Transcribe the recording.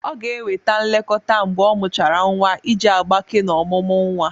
Ọ ga-enweta nlekọta mgbe ọmuchara nwa iji agbake na omụmu nwa.